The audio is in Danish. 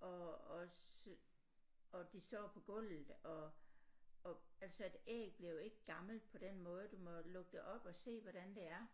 og også og de står på gulvet og og altså et æg bliver jo ikke gammelt på den måde du må jo lukke det op og se hvordan det er